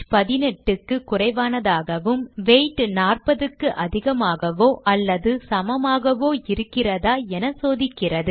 18 க்கு குறைவானதாகவும் வெய்த் 40 க்கு அதிகமாகவோ அல்லது சமமாகவோ இருக்கிறதா என சோதிக்கிறது